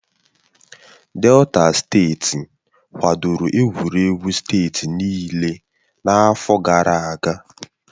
Delta steeti kwadoro egwuregwu steeti niile n'afọ gara aga